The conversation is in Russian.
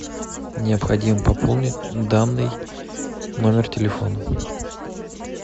необходимо пополнить данный номер телефона